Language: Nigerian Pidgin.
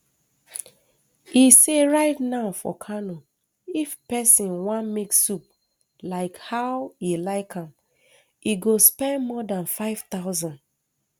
e say right now for kano if pesin wan make soup like how e like am e go spend more dan five thousand